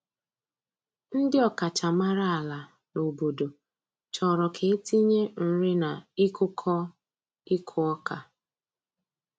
Ndi ọkachamara ala n'obodo chọrọ ka e tinye nrina ịkụkọ ịkụ ọka.